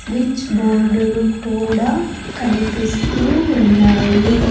Switch board లు కూడా కనిపిస్తు ఉన్నాయి.